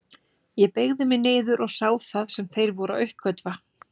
Ég beygði mig niður og sá það sem þeir voru að uppgötva.